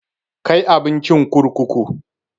Kai abincin kurkuku!